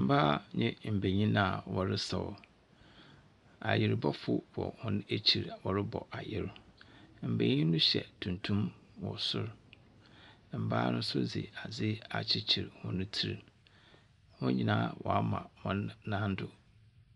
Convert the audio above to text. Mbaa nye mbenyin a wɔresaw. Ayerbɔfo wɔ hɔn ekyir a wɔrobɔ ayer. Mbenyin no hyɛ tuntu wɔ sor. Mbaa no nso dze adze akyekyer hɔn tsir. Hɔn nyinaa wɔama hɔn nan do